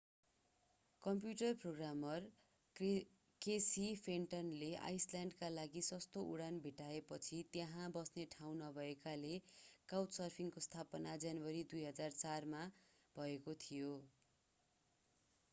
computer programmer Casey फेन्टनले आईसल्याण्डका लागि सस्तो उडान भेट्टाएपछि तर त्यहाँ बस्ने ठाउँ नभएकोले काउचसर्फिङ्गको स्थापना जनवरी 2004 मा भएको थियो